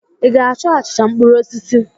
Ị ga-achọ achịcha mkpụrụ osisi?